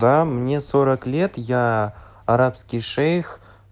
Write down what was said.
да мне сорок лет я арабский шейх